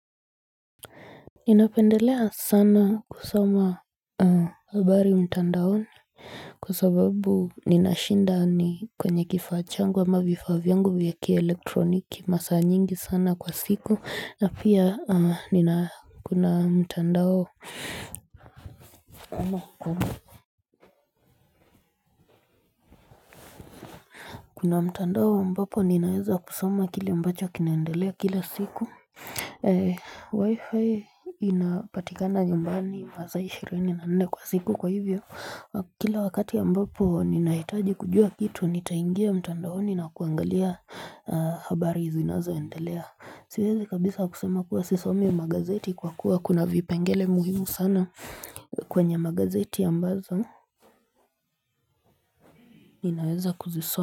Ninapendelea sana kusoma habari mtandaoni kwasababu ninashinda ni kwenye kifaa changu ama vifaa vyangu vya kielektroniki masaa nyingi sana kwa siku na pia nina kuna mtandao Kuna mtandao ambapo ninaweza kusoma kile ambacho kinaendelea kila siku Wi-Fi inapatikana nyumbani masaa 24 kwa siku kwa hivyo Kila wakati ya ambapo ninahitaji kujua kitu Nitaingia mtandaoni na kuangalia habari zinazo endelea Siwezi kabisa kusema kuwa sisomi magazeti kwa kuwa kuna vipengele muhimu sana kwenye magazeti ya ambazo ninaweza kuzisoma.